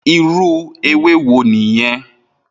Irú éwé wó niyèn?